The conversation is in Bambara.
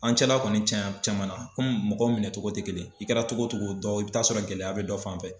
An cɛla kɔni cɛn cɛman na komi mɔgɔw minɛncogo tɛ kelen i kɛra togo togo dɔ i bɛ t'a sɔrɔ gɛlɛya bɛ dɔ fanfɛ.